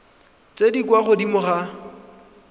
tse di kwa godimo ga